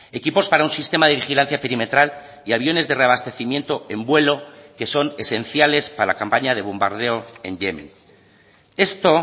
equipos para un sistema de vigilancia perimetral y aviones de reabastecimiento en vuelo que son esenciales para la campaña de bombardeo en yemen esto